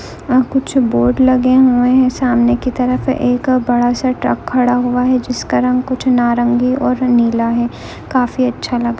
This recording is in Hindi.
यहां कुछ बोर्ड लगे हुए है सामने की तरफ एक बड़ा सा ट्रक खड़ा हुआ है जिसका रंग कुछ नारंगी और नीला है काफी अच्छा लग --